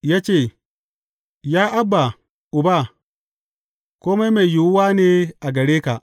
Ya ce, Ya Abba, Uba, kome mai yiwuwa ne a gare ka.